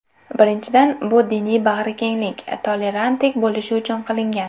Birinchidan, bu diniy bag‘rikenglik, tolerantlik bo‘lishi uchun qilingan.